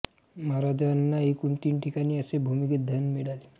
महाराजांना एकूण तीन ठिकाणी असे भूमीगत धन मिळाले